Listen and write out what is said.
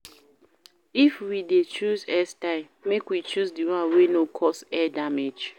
If we de choose hairstyle make we choose di one wey no cause hair damage